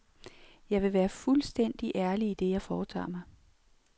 Jeg vil være fuldstændig ærlig i det, jeg foretager mig.